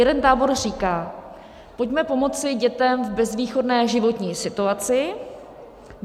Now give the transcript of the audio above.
Jeden tábor říká - pojďme pomoci dětem v bezvýchodné životní situaci.